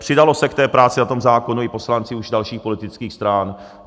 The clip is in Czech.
Přidali se k té práci na tom zákonu i poslanci už dalších politických stran.